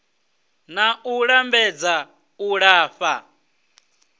na u lambedza u lafha